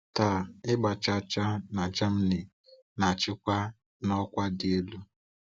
Taa, ịgba chaa chaa na Germany na-achịkwa na ọkwa dị elu.